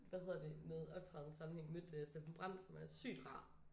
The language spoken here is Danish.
Hvad hedder det med optræden sammenhæng mødt Steffen Brandt som er sygt rar